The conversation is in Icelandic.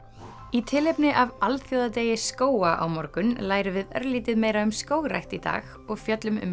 í tilefni af alþjóðadegi skóga á morgun lærum við örlítið meira um skógrækt í dag og fjöllum um